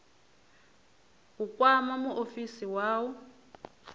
u kwama muofisi wa u